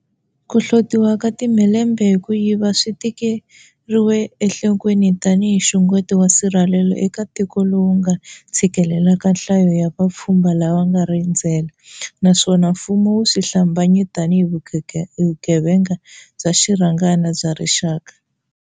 Ku hlotiwa ka timhelembe hi ku yiva swi tekeriwe enhlo kweni tanihi nxungeto wa nsirhelelo eka tiko lowu nga tshikelelaka nhlayo ya va pfhumba lava nga ri endze la, naswona mfumo wu swi hlambanye tanihi vugevenga bya xirhangana bya rixaka.